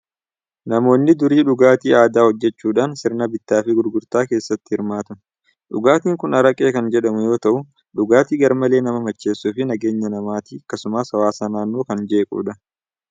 Namoonni durii dhugaatii aadaa hojjechuudhaan sirna bittaa fi gurgurtaa keessatti hirmaatu. dhugaatiin kun araqee kan jedhamu yoo ta'u, dhugaatii garmalee nama macheessuu fi nageenya maatii akkasumas hawaasa naannoo kan jeequdha!